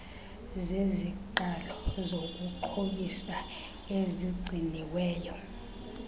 zeziqalo zokuxhobisa ezigciniweyo